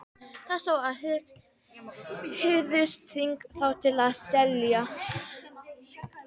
Það stóð, að þið hygðust þvinga þá til að selja